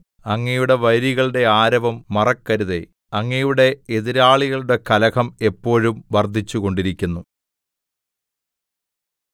അങ്ങയുടെ വൈരികളുടെ ആരവം മറക്കരുതേ അങ്ങയുടെ എതിരാളികളുടെ കലഹം എപ്പോഴും വർദ്ധിച്ചുകൊണ്ടിരിക്കുന്നു